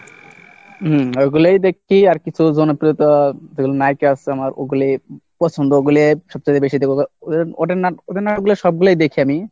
হুম ওইগুলোই দেখছি, আর কিছু জনপ্রিয়তা যেগুলো নায়িকা আছে আমার ওগুলি পছন্দ ওগুলি সবচাইতে বেশি দেখবো, কারণ ওদের নাটক ওদের নাটকগুলো সবগুলাই দেখি আমি,